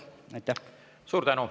Suur tänu!